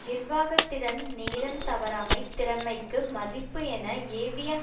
நிர்வாக திறன் நேரம் தவறாமை திறமைக்கு மதிப்பு என ஏவிஎம்